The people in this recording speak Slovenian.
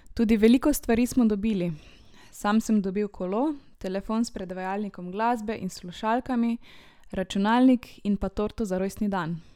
Tudi veliko stvari smo dobili, sam sem dobil kolo, telefon s predvajalnikom glasbe in slušalkami, računalnik in pa torto za rojstni dan!